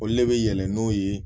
Olu le be yɛlɛn n'o ye